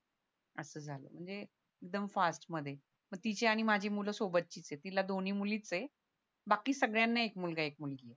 असं झालं म्हणजे एकदम फास्ट मध्ये मग तिची आणि माझी मुलं सोबतचीच येत तिला दोनी मुलीच ये बाकी सगळ्यांना एक मुलगा एक मुलगी ये